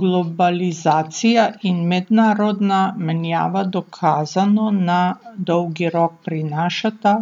Globalizacija in mednarodna menjava dokazano na dolgi rok prinašata